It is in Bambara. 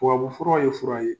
Tuwabu fura ye fura ye